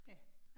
Ja